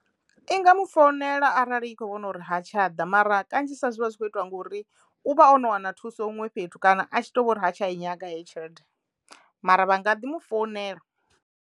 I nga mu founela arali i kho vhona uri ha tsha ḓa mara kanzhisa zwivha zwi kho itwa ngori u vha o no wana thuso huṅwe fhethu kana a tshi to vho ri ha tsha i nyaga heyo tshelede mara vha nga ḓi mu founela.